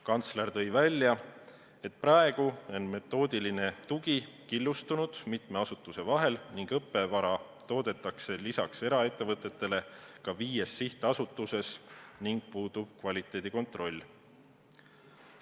Kantsler tõi välja, et praegu on metoodiline tugi killustunud mitme asutuse vahel ning õppevara toodetakse lisaks eraettevõtetele ka viies sihtasutuses ning puudub kvaliteedi kontroll.